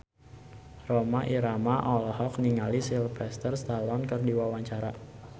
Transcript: Rhoma Irama olohok ningali Sylvester Stallone keur diwawancara